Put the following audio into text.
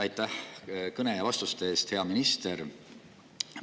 Aitäh kõne ja vastuste eest, hea minister!